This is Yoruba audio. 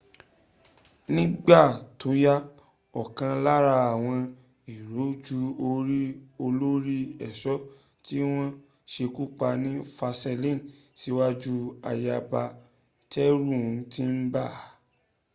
nígbà tóyá ọ̀kan lára àwọn èrò ju orí olórí ẹ̀ṣọ́ tí wọ́n sekúpa ni versaille síwájú ayaba tẹ́rù ti ń bà